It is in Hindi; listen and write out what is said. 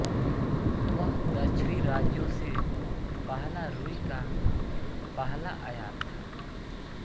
वह दक्षिणी राज्यों से पहला रूई का पहला आयात था